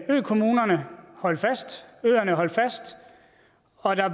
økommunerne holdt fast øerne holdt fast og der